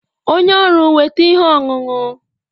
Onye ọrụ weta ihe ọṅụṅụ